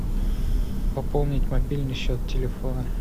пополнить мобильный счет телефона